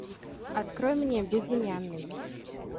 открой мне безымянный